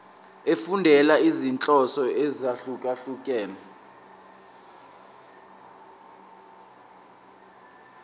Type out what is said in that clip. efundela izinhloso ezahlukehlukene